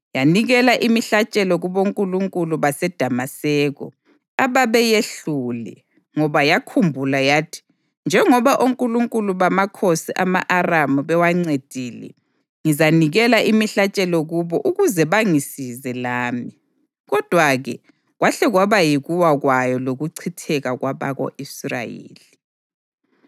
Yanikela imihlatshelo kubonkulunkulu baseDamaseko, ababeyehlule, ngoba yakhumbula yathi, “Njengoba onkulunkulu bamakhosi ama-Aramu bewancedile, ngizanikela imihlatshelo kubo ukuze bangisize lami.” Kodwa-ke kwahle kwaba yikuwa kwayo lokuchitheka kwabako-Israyeli.